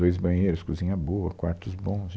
Dois banheiros, cozinha boa, quartos bons